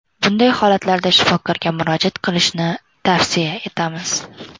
Bunday holatlarda shifokorga murojaat qilishni tavsiya etamiz.